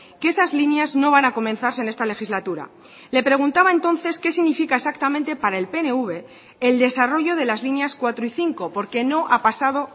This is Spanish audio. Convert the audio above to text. que esas líneas no van a comenzarse en esta legislatura le preguntaba entonces qué significa exactamente para el pnv el desarrollo de las líneas cuatro y cinco porque no ha pasado